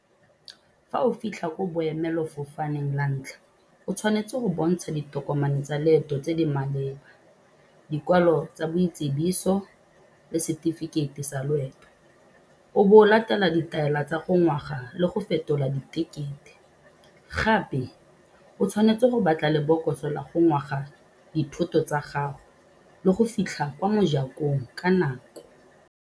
Fa o fitlha ko boemelofofaneng la ntlha, o tshwanetse go bontsha ditokomane tsa leeto tse di maleba, dikwalo tsa boitsibiso le setefikeiti sa loeto, o bo o latela ditaela tsa go le go fetola ditekete. Gape o tshwanetse go batla lebokoso la go dithoto tsa gago le go fitlha kwa mo ka nako.